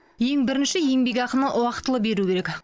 ең бірінші еңбекақыны уақытылы беру керек